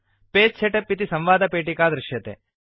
page setup इति संवादपेटिका दृश्यते